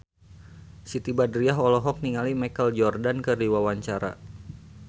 Siti Badriah olohok ningali Michael Jordan keur diwawancara